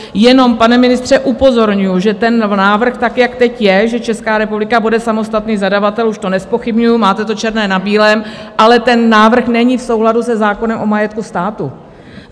Jenom, pane ministře, upozorňuji, že ten návrh tak, jak teď je, že Česká republika bude samostatný zadavatel - už to nezpochybňuji, máte to černé na bílém - ale ten návrh není v souladu se zákonem o majetku státu.